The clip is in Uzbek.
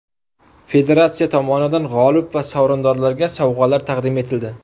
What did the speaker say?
Federatsiya tomonidan g‘olib va sovrindorlarga sovg‘alar taqdim etildi.